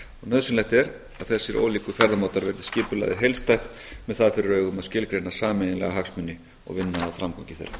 nauðsynlegt er að þessir ólíku ferðamátar verði skipulagðir heildstætt með það fyrir augum að skilgreina sameiginlega hagsmuni og vinna að framgangi þeirra